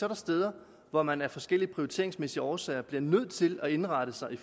er steder hvor man af forskellige prioriteringsmæssige årsager bliver nødt til at indrette sig i